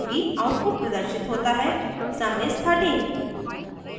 output प्रदर्शित होता है sum is 13